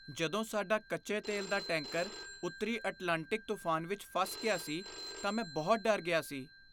ਜਦੋਂ ਸਾਡਾ ਕੱਚੇ ਤੇਲ ਦਾ ਟੈਂਕਰ ਉੱਤਰੀ ਅਟਲਾਂਟਿਕ ਤੂਫਾਨ ਵਿੱਚ ਫਸ ਗਿਆ ਸੀ ਤਾਂ ਮੈਂ ਬਹੁਤ ਡਰ ਗਿਆ ਸੀ।